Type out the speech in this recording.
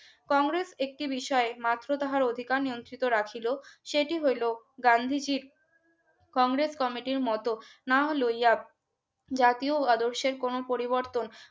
কংগ্রেস একটি বিষয়ে মাত্র তাহার অধিকার নিয়োজিত রাখিল সেটি হইল গান্ধীজীর কংগ্রেস কমিটির মতো না নাহলোয়া জাতীয় আদর্শের কোন পরিবর্তন